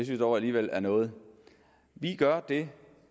jeg dog alligevel er noget vi gør det